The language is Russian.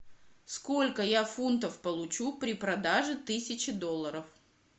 сколько я фунтов получу при продаже тысячи долларов